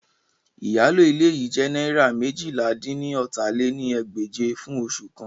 Iyalo ile yii jẹ naira meéjìlá-dín-ní-ọ́ta lé ní ẹgbẹ́je fun oṣu kan